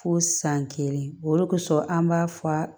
Fo san kelen o kosɔn an b'a fɔ